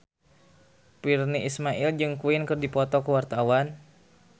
Virnie Ismail jeung Queen keur dipoto ku wartawan